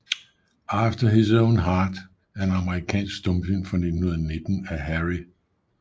After His Own Heart er en amerikansk stumfilm fra 1919 af Harry L